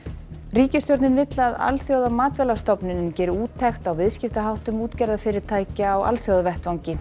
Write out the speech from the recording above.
ríkisstjórnin vill að geri úttekt á viðskiptaháttum útgerðarfyrirtækja á alþjóðavettvangi